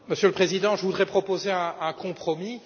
Monsieur le Président, je voudrais proposer un compromis.